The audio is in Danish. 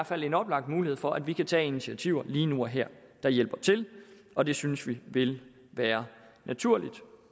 fald en oplagt mulighed for at vi kan tage initiativer lige nu og her der hjælper til og det synes vi vil være naturligt